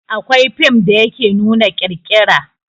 Akwai fim da yake nuna ƙirƙira